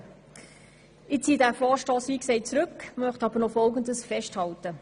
Wie gesagt ziehe ich den Vorstoss zurück, möchte aber noch folgendes festhalten: